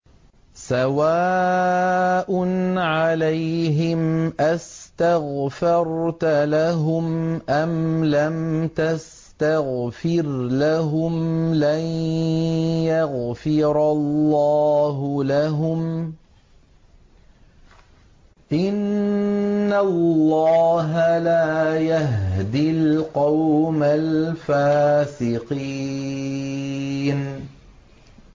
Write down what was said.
سَوَاءٌ عَلَيْهِمْ أَسْتَغْفَرْتَ لَهُمْ أَمْ لَمْ تَسْتَغْفِرْ لَهُمْ لَن يَغْفِرَ اللَّهُ لَهُمْ ۚ إِنَّ اللَّهَ لَا يَهْدِي الْقَوْمَ الْفَاسِقِينَ